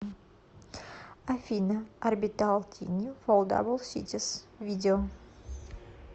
афина орбитал тини фолдабл ситис видео